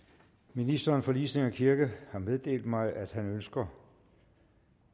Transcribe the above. ministeren for ligestilling og kirke har meddelt mig at han ønsker